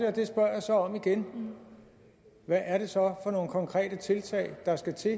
og det spørger jeg så om igen hvad er det så for nogle konkrete tiltag der skal til